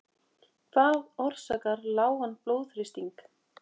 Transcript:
Hvað orsakar lágan blóðþrýsting?